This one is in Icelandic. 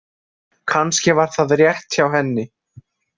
Kannski var það rétt hjá henni.